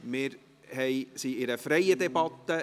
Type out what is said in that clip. Wir führen eine freie Debatte.